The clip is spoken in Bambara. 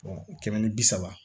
kɛmɛ ni bi saba